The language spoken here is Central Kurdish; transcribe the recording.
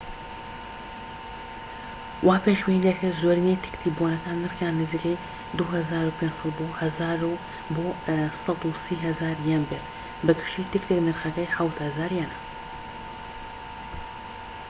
وا پێشبینی دەکرێت زۆرینەی تکتی بۆنەکان نرخیان نزیکەی ٢٥٠٠ بۆ ١٣٠،٠٠٠ یەن بێت، بە گشتی تکتێك نرخەکەی ٧٠٠٠ یەنە